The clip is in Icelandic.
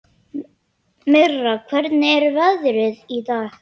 Mirra, hvernig er veðrið í dag?